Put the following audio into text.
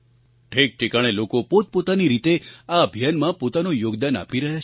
ઠેકઠેકાણે લોકો પોતપોતાની રીતે આ અભિયાનમાં પોતાનું યોગદાન આપી રહ્યા છે